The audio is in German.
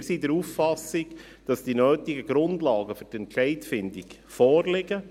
Wir sind der Auffassung, dass die nötigen Grundlagen für die Entscheidfindung vorliegen.